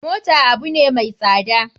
Mota abune mai tsada.